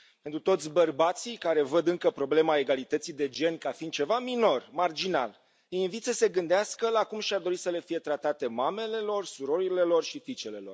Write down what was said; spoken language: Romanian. Pe toți bărbații care văd încă problema egalității de gen ca fiind ceva minor, marginal, îi invit să se gândească la cum și ar dori să le fie tratate mamele, surorile și fiicele.